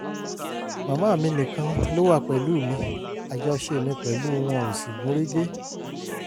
màmá mi nìkan ló wà pẹ̀lú mi àjọṣe mi pẹ̀lú wọn ò sì gún régé